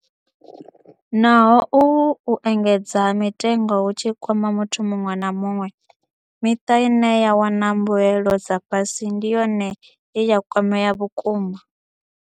Naho uhu u engedzea ha mitengo hu tshi kwama muthu muṅwe na muṅwe, miṱa ine ya wana mbuelo dza fhasi ndi yone ye ya kwamea vhukuma.